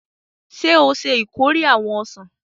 Ṣe o ṣe ìkórè awọn ọsan?